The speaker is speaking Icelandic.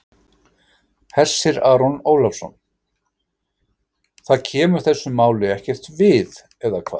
Hersir Aron Ólafsson: Það kemur þessu máli ekkert við, eða hvað?